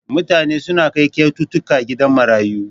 Mutane suna kai kyaututtuka gidan marayu.